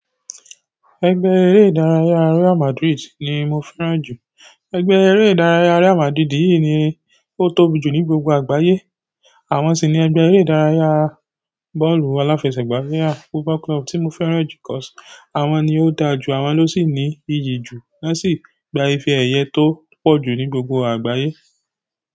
Ẹgbẹ́ eré ìdárayá Real Madrid ni mo fẹ́ràn jù. Ẹgbẹ́ eré ìdárayá Real Madrid yìí ni ó tóbi jù ní gbogbo àgbáyé. Àwọn si ni ẹgbẹ ere ìdárayá bọ́ọ̀lù aláfẹsẹ̀gbá ni gbogbo club ti mo fẹ́ràn ju àwọn ni ó da ju, àwọn ló sì ní iyì jù, wọ́n sì gba ìfẹ́ ẹ̀yẹ tó pọ̀ jù ní gbogbo àgbáyé.